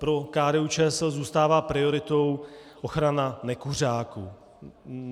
Pro KDU-ČSL zůstává prioritou ochrana nekuřáků.